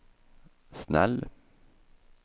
snäll